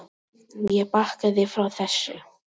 Ég bakkaði frá þessu.